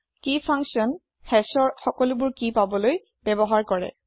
কি function hash ৰ সকলোবোৰ কি পাবলৈ ব্যৱহাৰ কৰে